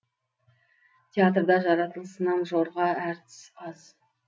театрда жаратылысынан жорға әртіс аз